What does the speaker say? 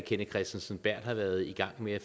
kenneth kristensen berth har været i gang med at